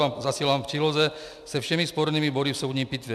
Vám zasílám v příloze se všemi spornými body v soudní pitvě.